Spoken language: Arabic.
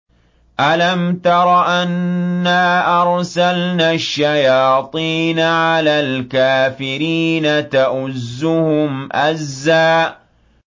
أَلَمْ تَرَ أَنَّا أَرْسَلْنَا الشَّيَاطِينَ عَلَى الْكَافِرِينَ تَؤُزُّهُمْ أَزًّا